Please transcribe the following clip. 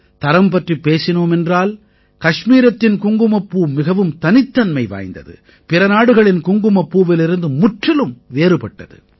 தரம் பற்றிப் பேசினோம் என்றால் கஷ்மீரத்தின் குங்குமப்பூ மிகவும் தனித்தன்மை வாய்ந்தது பிற நாடுகளின் குங்குமப்பூவிலிருந்து முற்றிலும் வேறுபட்டது